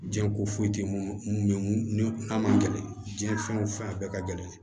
Jiɲɛ ko foyi tɛ mun bɛ mun n'a man gɛlɛn diɲɛ fɛn o fɛn bɛɛ ka gɛlɛn